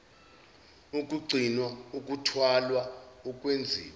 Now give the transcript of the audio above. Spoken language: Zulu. ukugcinwa ukuthwalwa ukwenziwa